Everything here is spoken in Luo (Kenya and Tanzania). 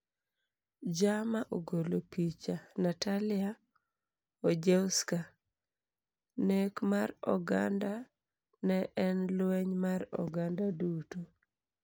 "Jama ogolo picha, Natalia Ojewska ""Nek mar oganda ne en lweny mar oganda duto."